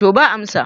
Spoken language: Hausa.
to ba amsa